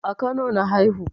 A kano na haihu